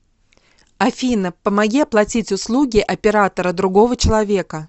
афина помоги оплатить услуги оператора другого человека